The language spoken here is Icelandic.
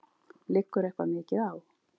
Liggur eitthvað mikið á?